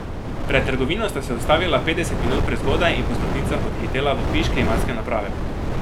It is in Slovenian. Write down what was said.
Pred trgovino sta se ustavila petdeset minut prezgodaj in po stopnicah odhitela v piš klimatske naprave.